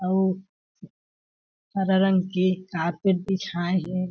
अउ हरा रंग के कारपेट बिछाए हे।